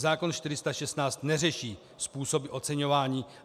Zákon 416 neřeší způsoby oceňování.